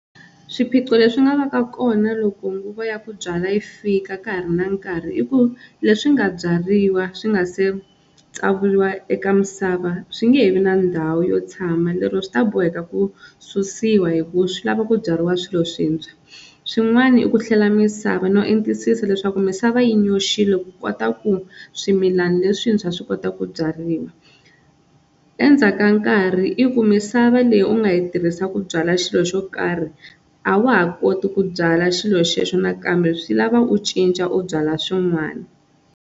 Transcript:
Swiphiqo leswi nga va ka kona loko nguva ya ku byala yi fika ka ha ri na nkarhi, i ku leswi nga byariwa swi nga se tsavuriwa eka misava swi nge he vi na ndhawu yo tshama, lero swi ta boheka ku susiwa hi ku swi lava ku byariwa swilo swintshwa. Swin'wana i ku hlela misava no entisisa leswaku misava yi nyoxile ku kota ku swimilana leswintshwa swi kota ku byariwa. Endzhaku ka nkarhi i ku misava leyi u nga yi tirhisaka ku byala xilo xo karhi a wa ha koti ku byala xilo xexo nakambe swi lava u cinca u byala swin'wana.